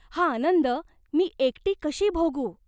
हा आनंद मी एकटी कशी भोगू?